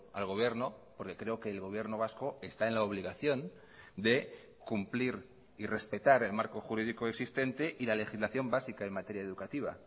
al gobierno porque creo que el gobierno vasco está en la obligación de cumplir y respetar el marco jurídico existente y la legislación básica en materia educativa